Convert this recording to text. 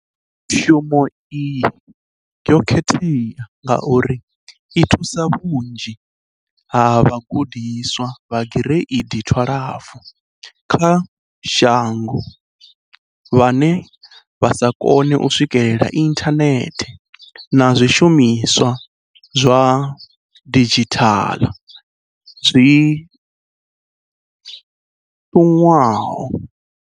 Mbekanyamushumo iyi yo khethea ngauri i thusa vhunzhi ha vhagudiswa vha Gireidi 12 kha shango vhane vha sa kone u swikela inthanethe na zwishumiswa zwa didzhithala zwi ṱuṅwaho.